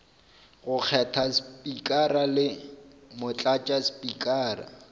go kgetha spikara le motlatšaspikara